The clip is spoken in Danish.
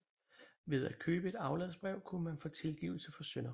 Ved at købe et afladsbrev kunne man få tilgivelse for synder